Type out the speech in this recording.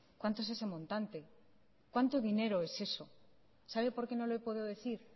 cuánto es ese montante cuánto dinero es eso sabe por qué no le puedo decir